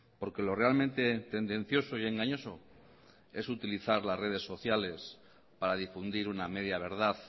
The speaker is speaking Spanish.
porque lo realmente tendencioso y engañoso es utilizar las redes sociales para difundir una media verdad